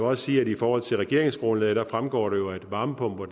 også sige at i forhold til regeringsgrundlaget fremgår det jo at varmepumper